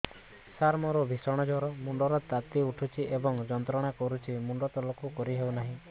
ସାର ମୋର ଭୀଷଣ ଜ୍ଵର ମୁଣ୍ଡ ର ତାତି ଉଠୁଛି ଏବଂ ଯନ୍ତ୍ରଣା କରୁଛି ମୁଣ୍ଡ ତଳକୁ କରି ହେଉନାହିଁ